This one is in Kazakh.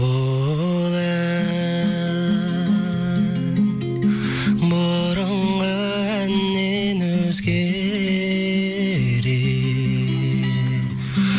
бұл ән бұрынғы әннен өзгерек